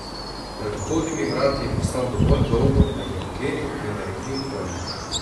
Pred vhodnimi vrati je postal dovolj dolgo, da jih je odklenil, vendar jih ni odprl.